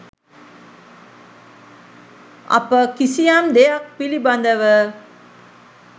අප කිසියම් දෙයක් පිළිබඳව